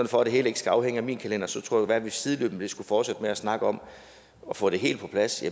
for at det hele ikke skal afhænge af min kalender tror jeg at vi sideløbende skal fortsætte med at snakke om at få det helt på plads